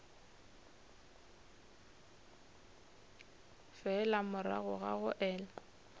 fela morago ga go ela